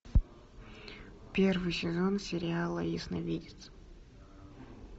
первый сезон сериала ясновидец